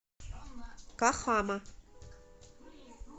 кахама